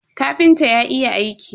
Kafintan ya iya aiki.